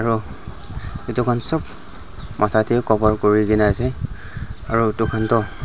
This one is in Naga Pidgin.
aru etu khan sob matha tae cover kurina ase aru etu khan toh.